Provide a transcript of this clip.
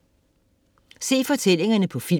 Se fortællingerne på film